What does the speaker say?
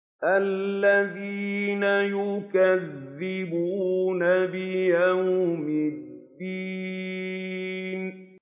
الَّذِينَ يُكَذِّبُونَ بِيَوْمِ الدِّينِ